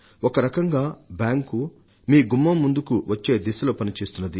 ఒకరకంగా బ్యాంకు మీ గుమ్మం ముందుకు వచ్చే దిశలో పనిచేస్తున్నది